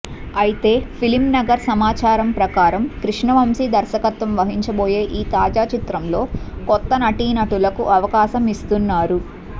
అయితే ఫిల్మ్ నగర్ సమాచారం ప్రకారం కృష్ణవంశి దర్శకత్వం వహిచబోయే ఈ తాజా చిత్రంలో కొత్త నటీనటులకు అవకాశం ఇస్తున్నారు